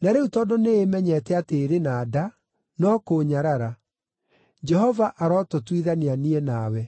na rĩu tondũ nĩĩmenyete atĩ ĩrĩ na nda, no kũũnyarara. Jehova arotũtuithania niĩ nawe.”